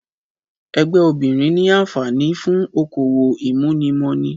Ẹgbẹ́ obìrin ni anfààní fún okòwò ìmúnimọni